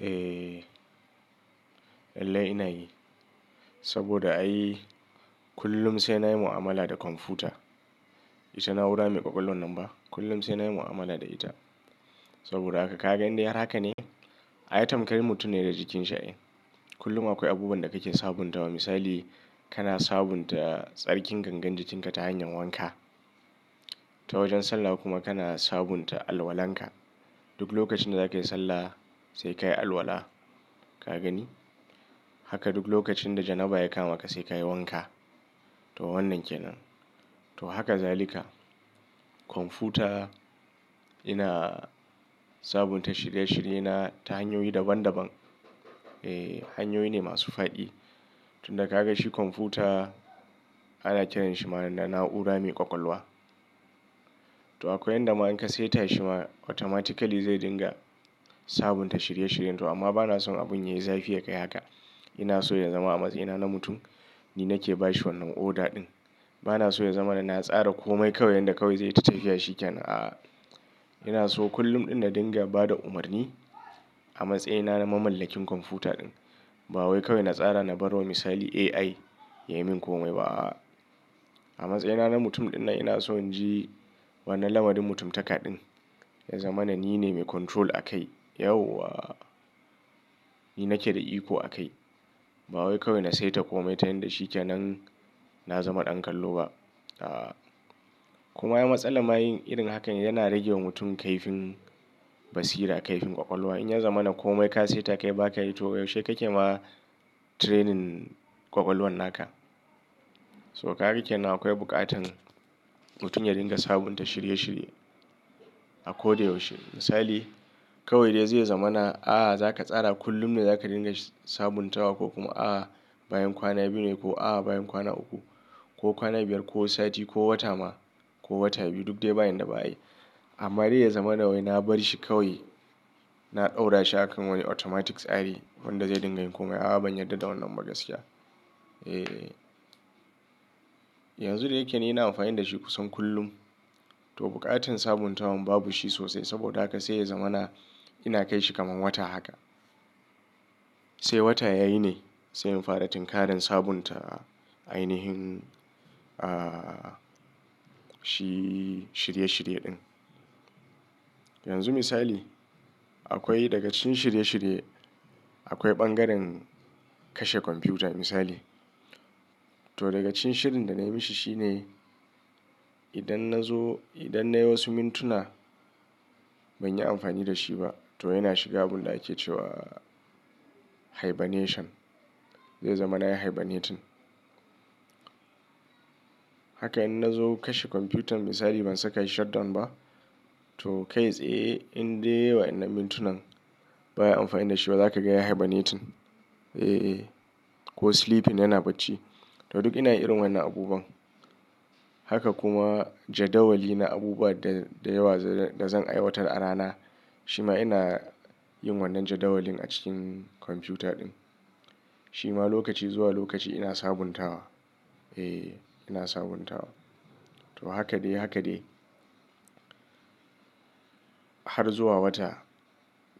Eh, lallai ina yi. Saboda ai kullum sai na yi mu'amala da kwamfuta. Ita na'ura mai ƙwaƙwalwan nan ba. Kullum sai na yi mu'amala da ita. Saboda haka ka ga indai har haka ne, ai tamkari mutum ne da jikin shi ai. Kullum akwai abubuwan da kake sabuntawa. Misali kana sabunta tsarkin gangar jikin ka ta hanyar wanka. Ta wajen sallah kuma kana sabunta alwalan ka. Duk lokacin da zakayi sallah sai kayi alwala. Ka gani? Haka duk lokacin da janaba ya kama ka sai kayi wanka. To wannan ke nan. To haka zalika. Kwamfuta ina sabunta shirye shirye na ta hanyoyi daban daban. Eh hanyoyi ne masu faɗi. Tunda ka ganshi kwamfuta ana kiranshi ma na'ura mai ƙwaƙwalwa. To akwai yanda ma in ka seta shi ma automatically zai dinga sabunta shirye shiryen ka. Amma bana son abun yayi zafi yakai haka. Ina so ya zama a matsayina na mutum ni nake bashi wannan oda ɗin. Bana so ya zama na tsara komai kawai yanda kawai zai ta tafiya shikenan. A'a. Ina so kullum in na dinga bada umarni a matsayina na mamallakin kwamfuta ɗin. Ba wai kawai na tsara na bawa misali AI ya yi min komai ba. Aa a matsayina na mutum ɗin nan ina so in ji wannan lamarin mutum taka ɗin. Ya zama na nine mai control a kai. Yauwa! Ni nake da iko a kai. Ba wai kawai na saita komai ta yanda shikenan na zama ɗan kallo ba. Aa. Kuma ya ai matsala ma yin irin hakan yana rage wa mutum kaifin basira, kaifin ƙwaƙwalwa. In ya zama na komai ka saita kai baka yi to yaushe kake ma training ƙwaƙwalwan naka. To kaga kenan akwai buƙatan mutum ya dinga sabunta shirye shirye a koda yaushe. Misali kawai dai ya zama na a'a za ka tsara kullum ne za ka dinga sabuntawa ko kuma a'a bayan kwana biyu ne ko a'a bayan kwana uku ko kwana biyar ko sati ko wata ma ko wata biyu duk dai bayan da ba'ayi. Amma dai ya zama na wai na bar shi kawai na ɗaura shi akan wani automatic tsari wanda zai dinga yin komai. A'a ban yarda da wannan gaskiya. Eh. Yanzu dayake dai ina amfani da shi kusan kullum. To buƙatan sabuntawan babu shi sosai saboda haka sai ya zama na ina kai shi kamar wata haka. Sai wata ya yi ne sai in fara tinkaran sabunta ainihin, ah, shi shirye shirye ɗin. Yanzu misali akwai daga cikin shirye shirye akwai bangaren kashe kwamfuta misali. To daga cikin shirin da nayi mishi shine idan na zo, idan nayi wasu mintuna banyi amfani da shi ba to yana shiga abunda ake cewa hibernation. Zai zama nayi hibernating. Haka in na zo kashe kwamfutan misali ban saka shi shutdown ba to kai tsaye indai wa'inan mintunan ba ayi amfani da shi ba zaka ga ya hibernating. Eh. Ko sleeping yana bacci. To duk ina yin irin wannan abubuwan. Haka kuma jadawali na abubuwa da yawa da zan aiwatar a rana. Shima ina yin wannan jadawalin a cikin kwamfuta ɗin. Shima lokaci zuwa lokaci ina sabuntawa. Eh ina sabuntawa. To haka dai haka dai. Har zuwa wata.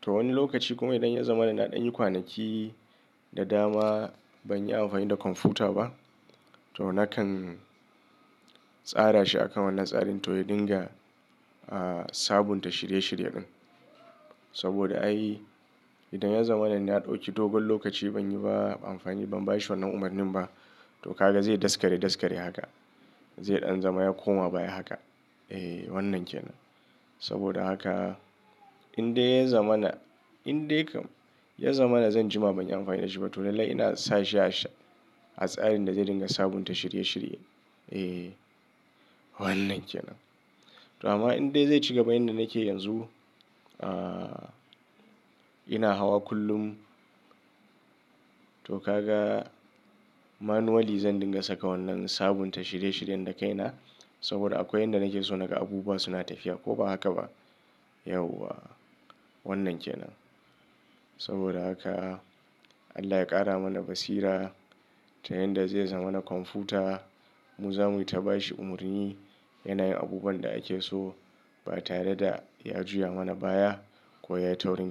To wani lokaci kuma idan ya zama na ɗan yi kwanaki da dama banyi amfani da kwamfuta ba to nakan tsara shi akan wannan tsarin to ya dinga, ah, sabunta shirye shirye ɗin. Saboda ai idan ya zama na ɗauki dogon lokaci banyi ba amfani, ban bashi wannan umarnin ba to ka ga zai daskare daskare haka. Zai ɗan zama ya koma baya haka. Eh wannan kenan. Saboda haka indai ya zama na, indai kam ya zama na zan jima banyi amfani da shi ba to lallai ina sashi a tsarin da zai dinga sabunta shirye shirye. Eh wannan kenan. To amma indai zai ci gaba yanda nake yanzu, ah, ina hawa kullum to ka ga manually zan dinga saka wannan sabunta shirye shiryen da kaina saboda akwai yanda nake so naga abubuwa suna tafiya ko ba haka ba. Yauwa! Wannan ke nan. Saboda haka Allah ya ƙara mana basira ta yanda zai zama na kwamfuta mu za muyi ta bashi umarni yana yin abubuwan da ake so ba tare da ya juya mana baya ko ya yi taurin.